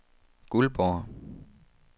Guldborg